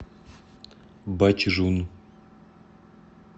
бачжун